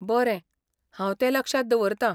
बरें, हांव तें लक्षांत दवरतां.